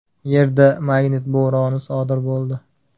Yerda magnit bo‘roni sodir bo‘ldi.